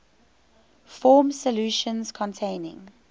form solutions containing